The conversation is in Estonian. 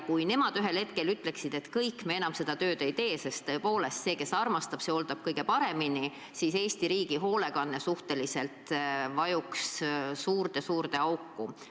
Kui nemad ühel hetkel ütleksid, et kõik, enam me seda tööd ei tee – sest tõepoolest, see, kes armastab, see hooldab kõige paremini – siis Eesti riigi hoolekanne vajuks suurde-suurde auku.